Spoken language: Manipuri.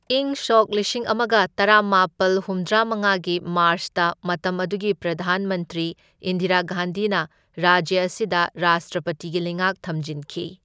ꯏꯪ ꯁꯣꯛ ꯂꯤꯁꯤꯡ ꯑꯃꯒ ꯇꯔꯥꯃꯥꯄꯜ ꯍꯨꯝꯗ꯭ꯔꯥꯃꯉꯥꯒꯤ ꯃꯥꯔ꯭ꯆꯇ ꯃꯇꯝ ꯑꯗꯨꯒꯤ ꯄ꯭ꯔꯙꯥꯟ ꯃꯟꯇ꯭ꯔꯤ ꯏꯟꯗꯤꯔꯥ ꯒꯥꯟꯙꯤꯅ ꯔꯥꯖ꯭ꯌ ꯑꯁꯤꯗ ꯔꯥꯁꯇ꯭ꯔꯄꯇꯤꯒꯤ ꯂꯩꯉꯥꯛ ꯊꯝꯖꯤꯟꯈꯤ꯫